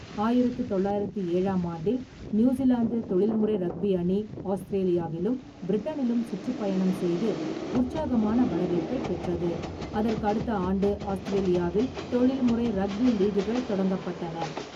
ஆயிரத்து தொள்ளாயிரத்து ஏழாம் ஆண்டில், நியூசிலாந்து தொழில்முறை ரக்பி அணி ஆஸ்திரேலியாவிலும் பிரிட்டனிலும் சுற்றுப்பயணம் செய்து, உற்சாகமான வரவேற்பைப் பெற்றது, அதற்கு அடுத்த ஆண்டு ஆஸ்திரேலியாவில் தொழில்முறை ரக்பி லீக்குகள் தொடங்கப்பட்டன.